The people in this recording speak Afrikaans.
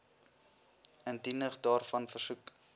indiening daarvan versoek